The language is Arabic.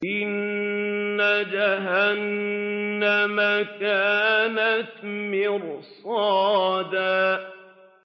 إِنَّ جَهَنَّمَ كَانَتْ مِرْصَادًا